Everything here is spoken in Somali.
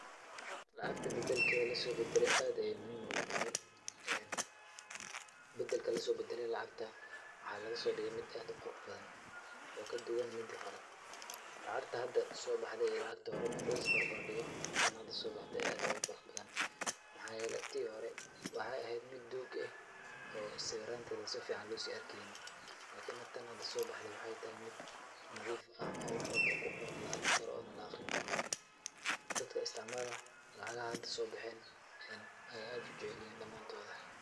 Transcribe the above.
Lacagta bedelkeeda lisoo bedelay aad ayaa muhiim noogu tahay. Bedelka lisoo bedelay lacagta waxaa laga soo dhigay mid aad u quruxbadan oo kaduwan midii hore. Lacagta hada soo baxday iyo lacagtii hore marka laisbarbardhigo, tan had soo baxday ayaa aad ugu quruxbadan. Maxaa yeelay tii hore waxaay eheed mid duug eh oo sawiraanteda si ficaan loo sii arkaynin lakini tan hada soo baxday waxay tahay mid nadiif ah oo wax walbo oo ku qoran la'arki karo oona la'akhrinkaro. Dadka istacmaalana, lacaga had soo baxeen ayaay aad ujeclihiin dhamaantooda.